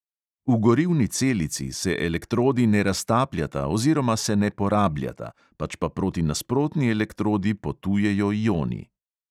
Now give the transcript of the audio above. V gorivni celici se elektrodi ne raztapljata oziroma se ne porabljata, pač pa proti nasprotni elektrodi potujejo ioni.